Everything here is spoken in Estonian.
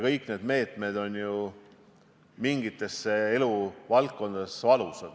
Kõik need meetmed on ju mingites eluvaldkondades valusad.